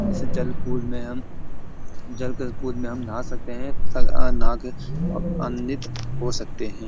इस जल पूल में हम जल के पूल में हम नहा सकते हैं नहा के आनंदित हो सकते हैं।